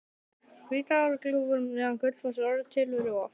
Hvítárgljúfur neðan Gullfoss er orðið til við rof